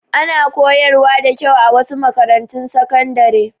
Ana koyar wa da kyau a wasu makarantun sakandare